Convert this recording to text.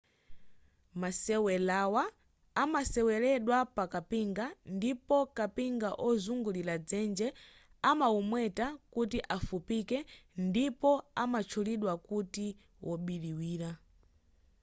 masewelawa amaseweledwa pa kapinga ndipo kapinga wozungulira dzenje amaumweta kuti afupike ndipo amatchulidwa kuti wobiriwira